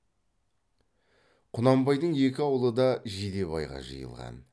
құнанбайдың екі аулы да жидебайға жиылған